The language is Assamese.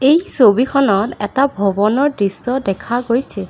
এই ছবিখনত এটা ভৱনৰ দৃশ্য দেখা গৈছে।